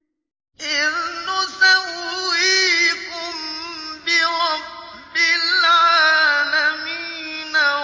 إِذْ نُسَوِّيكُم بِرَبِّ الْعَالَمِينَ